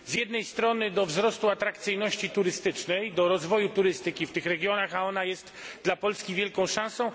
Z jednej strony do wzrostu atrakcyjności turystycznej, do rozwoju turystyki w tych regionach, a ona jest dla Polski wielką szansą.